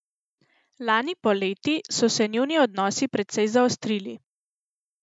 Lani poleti so se njuni odnosi precej zaostrili.